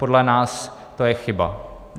Podle nás to je chyba.